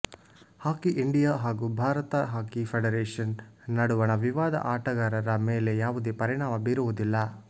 ಹಾಕಿ India ಹಾಗೂ Bharat hockey federation ನಡುವಣ ವಿವಾದ ಆಟಗಾರರ ಮೇಲೆ ಯಾವುದೇ ಪರಿಣಾಮ ಬೀರುವುದಿಲ್ಲ